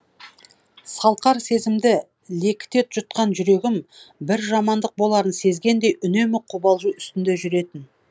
салқар сезімді лекіте жұтқан жүрегім бір жамандық боларын сезгендей үнемі қобалжу үстінде жүретін